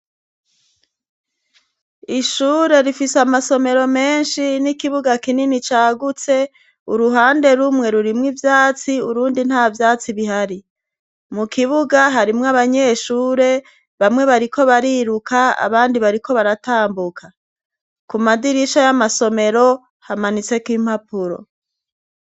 Ishure rifise amasomero menshi n'ikibuga kinini cagutse, uruhande rumwe rurimwo ivyatsi, urundi nta vyatsi bihari, mukibuga harimwo abanyeshure bamwe bariko bariruka abandi bariko baratambuka, kumadirisha ya masomero hamanitseko impapuro.